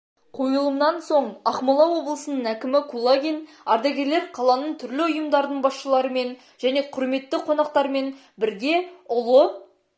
қойылымнан соң ақмола облысының әкімі кулагин ардагерлер қаланың түрлі ұйымдардың басшыларымен және құрметті қонақтармен бірге ұлы